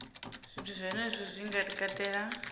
zwithu zwenezwo zwi nga katela